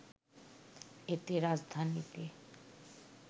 এতে রাজধানীতে